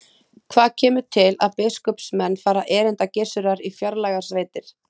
Hvað kemur til að biskupsmenn fara erinda Gissurar í fjarlægar sveitir?